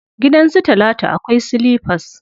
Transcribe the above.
Gidan su talatu akwai silifas.